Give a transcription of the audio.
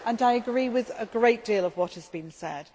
I agree with a great deal of what has been said.